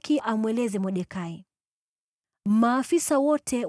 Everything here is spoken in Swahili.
Kisha Esta akamwamuru Hathaki amweleze Mordekai,